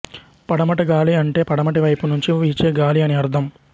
పడమటిగాలి అంటే పడమటివైపు నుంచి వీచే గాలి అని అర్థం